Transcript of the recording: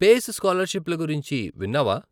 Face స్కాలర్షిప్ల గురించి విన్నావా?